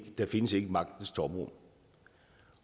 findes et magtens tomrum